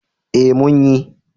Eh mun yi